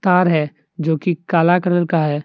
तार है जोकि काला कलर का है।